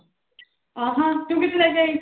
ਆਹਾ ਤੂੰ ਕਿੱਥੋਂ ਲੈ ਕੇ ਆਈ?